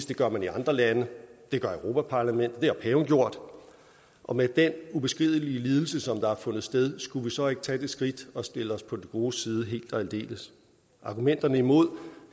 det gør man i andre lande det gør europa parlamentet det har paven gjort og med den ubeskrivelige lidelse som har fundet sted skulle vi så ikke tage det skridt og stille os på de godes side helt og aldeles argumenterne imod